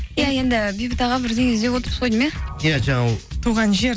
иә енді бейбіт аға бірдеңе іздеп отырсыз ғой деймін иә иә туған жер